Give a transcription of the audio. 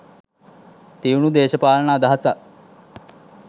තියුණු දේශපාලන අදහසක්